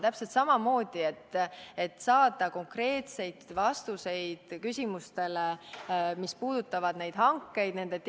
Täpselt samamoodi oli vaja saada konkreetseid vastuseid küsimustele, mis puudutavad nende hangete teostamist.